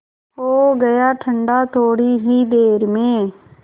हो गया ठंडा थोडी ही देर में